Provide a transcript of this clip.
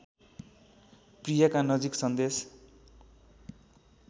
प्रियका नजिक सन्देश